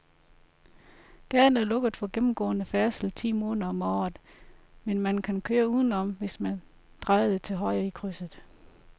Gaden er lukket for gennemgående færdsel ti måneder om året, men man kan køre udenom, hvis man drejer til højre i krydset.